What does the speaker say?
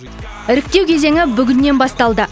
іріктеу кезеңі бүгіннен басталды